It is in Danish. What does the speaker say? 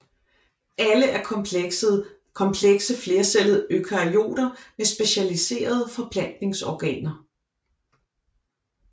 Alle er komplekse flercellede eukaryoter med specialiserede forplantningsorganer